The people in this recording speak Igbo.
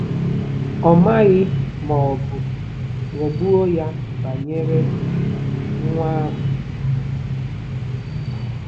Ọ maghị ma ọ bụ ghọgbuo ya banyere nwa ahụ.